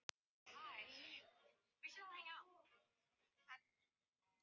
Við settumst með honum inn á Hressó til að spjalla.